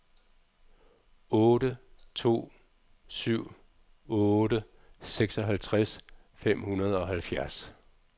otte to syv otte seksoghalvtreds fem hundrede og halvfjerds